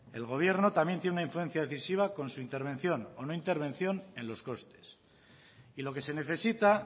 el gobierno también tiene una influencia decisiva con su intervención o no intervención en los costes y lo que se necesita